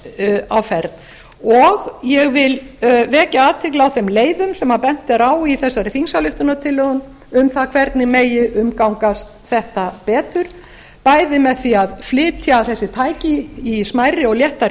er á ferð og ég vil vekja athygli á þeim leiðum sem bent er á í þessari þingsályktunartillögu um það hvernig megi umgangast þetta betur bæði með því að flytja þessi tæki í smærri og léttari